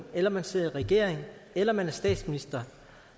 eller man sidder i regering eller man er statsminister